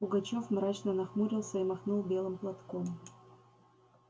пугачёв мрачно нахмурился и махнул белым платком